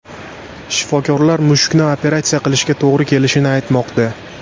Shifokorlar mushukni operatsiya qilishga to‘g‘ri kelishini aytmoqda.